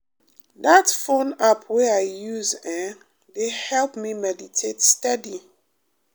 that phone app wey i use ehhn dey help me meditate steady.